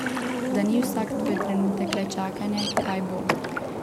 Da ni vsak tvoj trenutek le čakanje, kaj bo.